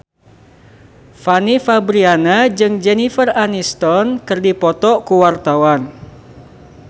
Fanny Fabriana jeung Jennifer Aniston keur dipoto ku wartawan